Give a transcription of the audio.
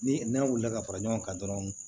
Ni n'a wulila ka fara ɲɔgɔn kan dɔrɔn